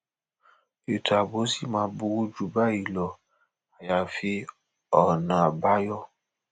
ètò ààbò ṣì máa burú jù báyìí lọ àyàfi ọbánjọ